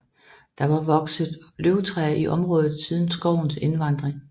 Der har vokset løvtræ i området siden skovens invandring